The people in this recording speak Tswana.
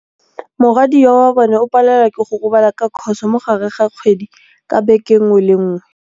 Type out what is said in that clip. Morwadia wa bone o palelwa ke go robala ka khôsô mo gare ga kgwedi ka beke nngwe le nngwe.